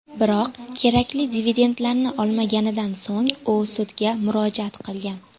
Biroq kerakli dividendlarni olmaganidan so‘ng u sudga murojaat qilgan.